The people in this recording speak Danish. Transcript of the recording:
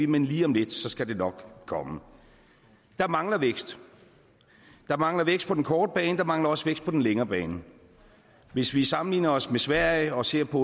men lige om lidt skal det nok komme der mangler vækst der mangler vækst på den korte bane og der mangler også vækst på den længere bane hvis vi sammenligner os med sverige og ser på